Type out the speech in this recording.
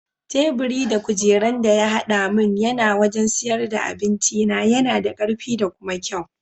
Teburi da kujeran da ya haɗa mun na wajan siyar da abincina yana da karfi da kuma kyau.